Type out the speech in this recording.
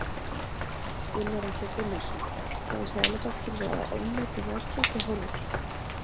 Gunnar Atli Gunnarsson: Hefur Seðlabankinn verið að ofmeta verðbólguhorfur?